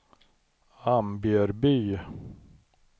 Ambjörby